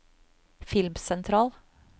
filmsentral